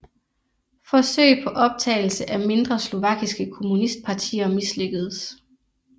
Forsøg på optagelse af mindre slovakiske kommunistpartier mislykkedes